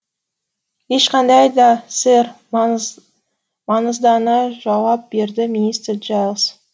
ешқандай да сэр маңыздана жауап берді мистер джайлс